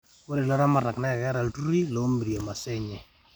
ore laramatak naa keeta ilturruri loomirie masaa enye